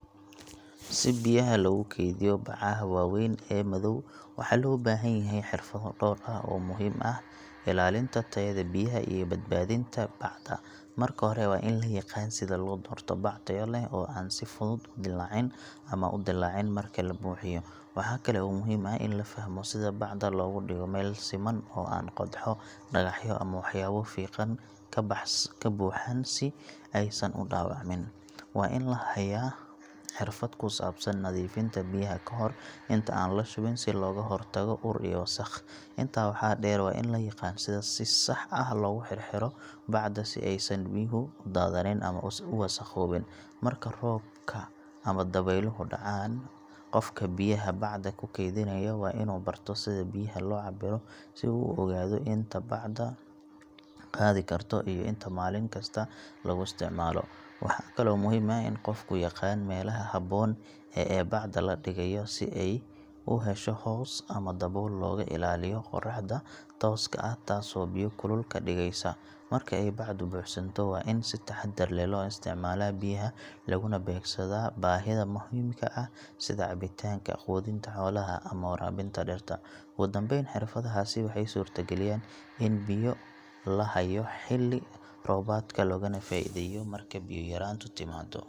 Si biyaha loogu kaydiyo bacaha waaweyn ee madow, waxaa loo baahan yahay xirfado dhowr ah oo muhiim u ah ilaalinta tayada biyaha iyo badbaadinta bacda. Marka hore waa in la yaqaan sida loo doorto bac tayo leh oo aan si fudud u dillaacin ama u dillaacin marka la buuxiyo. Waxaa kale oo muhiim ah in la fahmo sida bacda loogu dhigo meel siman oo aan qodxo, dhagaxyo ama waxyaabo fiiqan ka buuxaan si aysan u dhaawacmin. Waa in la hayaa xirfad ku saabsan nadiifinta biyaha kahor inta aan la shubin si looga hortago ur iyo wasakh. Intaa waxaa dheer, waa in la yaqaan sida si sax ah loogu xirxiro bacda si aysan biyuhu u daadanin ama u wasakhoobin marka roobka ama dabayluhu dhacaan. Qofka biyaha bacda ku kaydinaya waa inuu barto sida biyaha loo cabbiro si uu u ogaado inta bacdu qaadi karto iyo inta maalin kasta laga isticmaalo. Waxaa kaloo muhiim ah in qofku yaqaan meelaha habboon ee bacda la dhigayo si ay u hesho hoos ama dabool looga ilaaliyo qoraxda tooska ah taasoo biyo kulul ka dhigaysa. Marka ay bacdu buuxsanto, waa in si taxaddar leh loo isticmaalaa biyaha laguna beegsadaa baahida muhiimka ah sida cabbitaanka, quudinta xoolaha ama waraabinta dhirta. Ugu dambayn, xirfadahaasi waxay suurtagelinayaan in biyo la hayo xilli roobaadka loogana faa’iideeyo marka biyo yaraantu timaado.